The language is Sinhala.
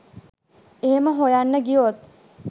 එහෙම හොයන්න ගියොත්